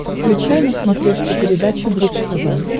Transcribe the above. включай на смотрешке передачу бридж тв